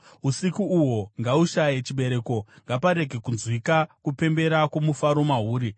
Usiku uhwo ngahushaye chibereko; ngaparege kunzwika kupembera kwomufaro mahuri.